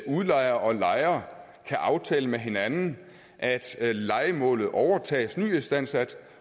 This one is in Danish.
udlejer og lejer kan aftale med hinanden at lejemålet overtages nyistandsat